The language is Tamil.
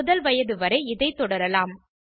முதல் வயது வரை இதை தொடரலாம்